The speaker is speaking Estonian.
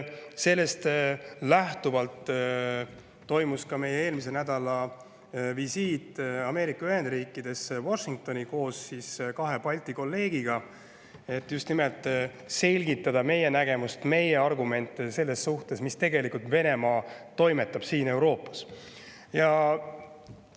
Sellest lähtuvalt toimus eelmisel nädalal ka meie visiit Ameerika Ühendriikidesse Washingtoni koos kahe Balti kolleegiga, et just nimelt selgitada meie nägemust, meie argumenti selles suhtes, mida tegelikult Venemaa siin Euroopas.